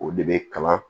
O de bɛ kalan